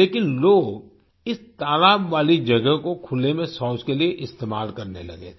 लेकिन लोग इस तालाब वाली जगह को खुले में शौच के लिए इस्तेमाल करने लगे थे